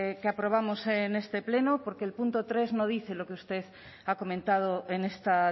que aprobamos en este pleno porque el punto tres no dice lo que usted ha comentado en esta